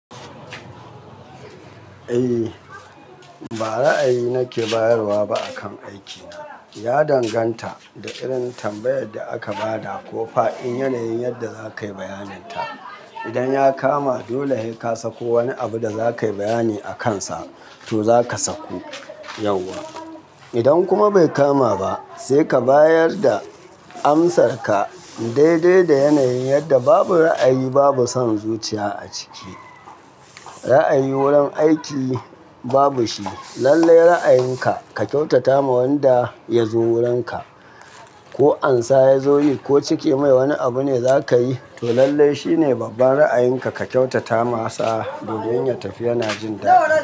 Eh, ba ra'ayi nake bayarwa ba akan aikina. Ya danganta da irin tambayar da aka ba da ko fa in yanayin yadda za ka yi bayanin ta. Idan ya kama dole sai ka sako wani abu da za ka yi bayani a kansa to za ka sako yauwa. Idan kuma bai kama ba sai ka bayar da amsarka daidai da yanayin yadda babu ra'ayi babu son zuciya a ciki. Ra'ayi wurin aiki babu shi. Lallai ra'ayinka ka kyautata ma wanda ya zo wurinka. Ko ansa ya zo yi ko cike mai wani abu ne za ka yi to lallai shine babban ra'ayinka ka kyautata masa domin ya tafi yana jin daɗi.